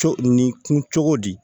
Co nin kun cogo di